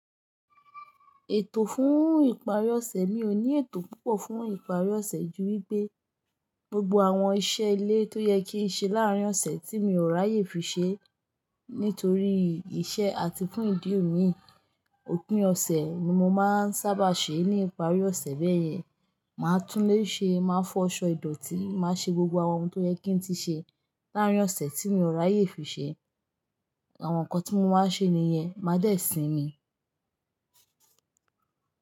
Ètò fún ìparí ọ̀sẹ̀, mi ò ní ètò púpọ̀ fún ìparí ọ̀sẹ̀ ju wí pé gbogbo àwọn iṣẹ́ ilé tó yẹ kí n ṣe láàárín ọ̀sẹ̀ tí mi ò ráyè fi ṣe nítorí iṣẹ́ àti fún ìdí òmí, òpin ọ̀sẹ̀ ni mo máa ń sábà ṣe é. Ní ìparí ọ̀sẹ̀ bẹ́ẹ̀ yẹn, màá tún lé ṣe, màá fọ ọ̀ṣọ́ ìdọ̀tí, màá ṣe gbogbo àwọn ohun tó yẹ kí n ti ṣe láàárín ọ̀sẹ̀ tí mi ò ráyè fi ṣe. Àwọn nǹkan tí mo máa ṣe nìyẹn, máa dẹ́ẹ̀ sí mi.